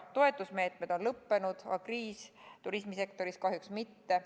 Toetusmeetmed on lõppenud, aga kriis turismisektoris kahjuks mitte.